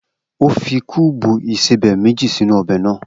O fi kuubu ìsẹbè meji sinu ọbẹ naa.